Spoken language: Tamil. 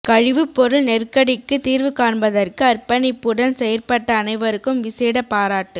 கழிவுப்பொருள் நெருக்கடிக்கு தீர்வு காண்பதற்கு அர்பணிப்புடன் செயற்பட்ட அனைவருக்கும் விசேட பாராட்டு